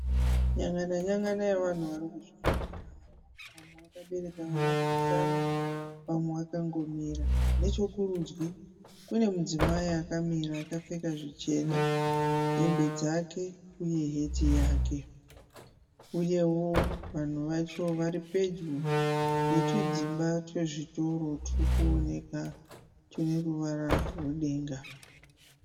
Nyangana nyangana yevanhu vari kuzvifambira havo. Vamwe vakabereka vana kumusana vamwe vakangomira. Nechokurudyi kune mudzimai akamira akapfeka zvichena, hembe dzake uye heti yake uyewo vanhu vacho vari pedyo netudzimba twezvitoro turi kuoneka tune ruvara rwedenga.